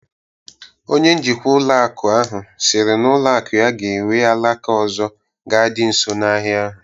Onye njikwa ụlọ akụ ahụ siri na ụlọ akụ ya ga-ewu alaka ọzọ ga dị nso na ahịa ahụ